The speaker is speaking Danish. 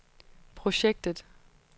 projektet